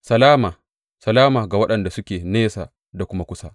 Salama, salama, ga waɗanda suke nesa da kuma kusa,